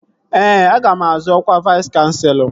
Ee, aga m azọ ọkwa Vais kanselọ